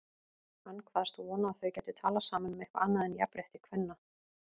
Hann kvaðst vona að þau gætu talað saman um eitthvað annað en jafnrétti kvenna.